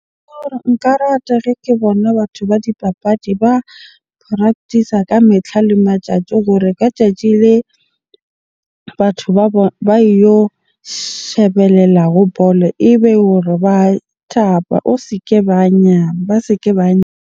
Nka rata ke bona batho ba dipapadi ba practice-a ka metlha le matjatji hore ka tjatji le batho ba ba yo shebelela ho bolo ebe hore ba thaba. O se ke ba ba se ke ba .